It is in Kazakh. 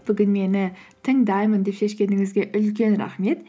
бүгін мені тыңдаймын деп шешкеніңізге үлкен рахмет